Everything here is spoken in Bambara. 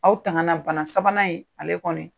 Aw tanga na bana sabanan in ale kɔni.